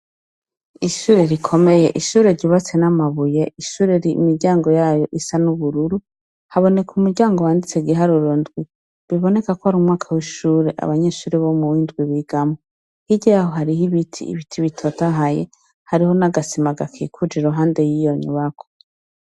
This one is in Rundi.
Ishure rikomeye, ishure ryubatse n' amabuye, ishur' imiryango yayo is' ubururu habonek' umuryango wanditsek' igiharur' indwi bibonekak' ar' umwaka w' ishur' abo mu mwaka w' indwi bigamwo, hirya yayo har' ibiti bitotahaye, hariho n' agasima gakikuj' iruhande y' iyo nyubakwa.